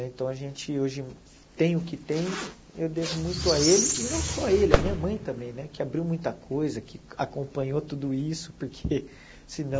Então, a gente hoje tem o que tem, eu devo muito a ele, e não só a ele, a minha mãe também né, que abriu muita coisa, que acompanhou tudo isso, porque senão...